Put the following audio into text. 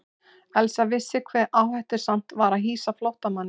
Elsa vissi hve áhættusamt var að hýsa flóttamanninn.